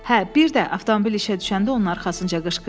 “Hə, bir də,” avtomobil işə düşəndə onun arxasınca qışqırdı,